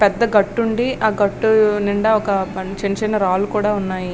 పెద్దగట్టు ఉండి ఆ గట్టు నిండా చిన్న చిన్న రాళ్లు కూడా ఉన్నాయి.